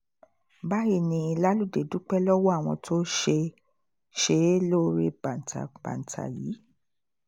báyìí ni laludé dúpẹ́ lọ́wọ́ àwọn tó ṣe é lóore bàǹtà banta yìí